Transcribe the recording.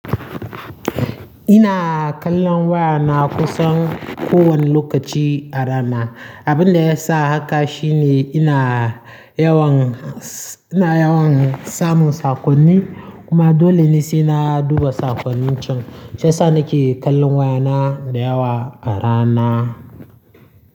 Ina kallon wayana kusan kowane lokaci a rana. Abin da ya sa haka shine ina yawan, ina yawan samun saƙonni kuma dole ne sai na duba saƙonnin can. Shiyasa nake kallon wayana da yawa a rana.